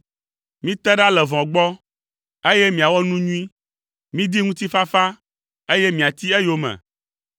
Mite ɖa le vɔ̃ gbɔ, eye miawɔ nu nyui, midi ŋutifafa, eye miati eyome.